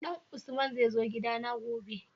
Dan usman zai zo gida na gobe?